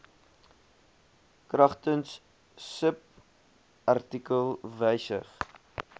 kragtens subartikel wysig